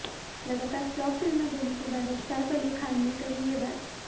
लगातार फ्लॉप फिल्में देने के बाद अब सैफ अली खान ने कही ये बात